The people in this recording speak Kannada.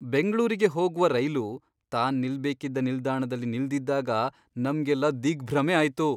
ಬೆಂಗ್ಳೂರಿಗೆ ಹೋಗ್ವ ರೈಲು ತಾನ್ ನಿಲ್ಬೇಕಿದ್ದ ನಿಲ್ದಾಣದಲ್ಲಿ ನಿಲ್ದಿದ್ದಾಗ ನಮ್ಗೆಲ್ಲಾ ದಿಗ್ಭ್ರಮೆ ಆಯ್ತು.